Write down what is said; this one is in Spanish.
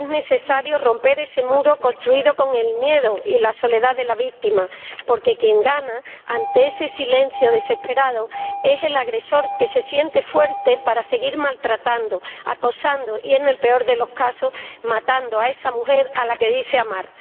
Es necesario romper ese muro construido con el miedo y la soledad de la víctima, porque quien gana, ante ese silencio desesperado, es el agresor, que se siente fuerte para seguir maltratando, acosando y, en el peor de los casos, matando a esa mujer a la que dice amar.